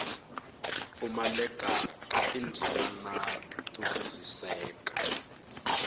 pfumaleka ka tindzimana to twisiseka